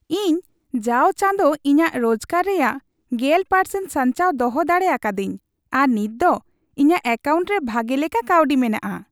ᱤᱧ ᱡᱟᱣ ᱪᱟᱸᱫᱚ ᱤᱧᱟᱜ ᱨᱳᱡᱜᱟᱨ ᱨᱮᱭᱟᱜ ᱑᱐% ᱥᱟᱧᱪᱟᱣ ᱫᱚᱦᱚ ᱫᱟᱲᱮ ᱟᱠᱟᱫᱟᱹᱧ ᱟᱨ ᱱᱤᱛ ᱫᱚ ᱤᱧᱟᱜ ᱮᱠᱟᱣᱩᱱᱴ ᱨᱮ ᱵᱷᱟᱜᱮ ᱞᱮᱠᱟ ᱠᱟᱹᱣᱰᱤ ᱢᱮᱱᱟᱜᱼᱟ ᱾